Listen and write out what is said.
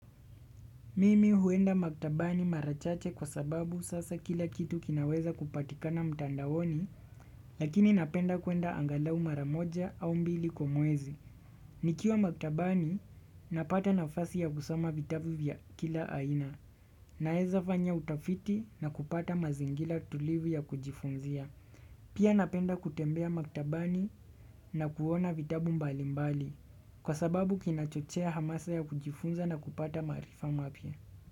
Mimi huenda maktabani marachache kwa sababu sasa kila kitu kinaweza kupatika na mtandaoni, lakini napenda kuenda angalau maramoja au mbili kwamwezi. Nikiwa maktabani, napata nafasi ya kusoma vitabu vya kila aina. Naeza fanya utafiti na kupata mazingira tulivu ya kujifunzia. Pia napenda kutembea maktabani na kuona vitabu mbali mbali. Kwa sababu kinachochea hamasa ya kujifunza na kupata marifa mapya.